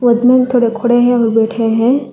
इसमें थोड़े खड़े हैं और बैठे हैं।